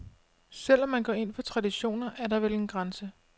Selv om man går ind for traditioner, er der vel grænser.